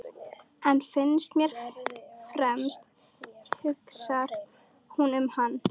En fyrst og fremst hugsar hún um hann.